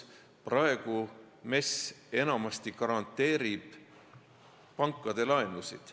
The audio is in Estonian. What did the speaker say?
Praegu MES enamasti garanteerib pankade laenusid.